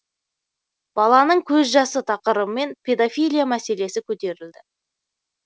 баланың көз жасы тақырыбымен педофилия мәселесі көтерілді